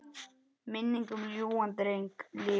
Minning um ljúfan dreng lifir.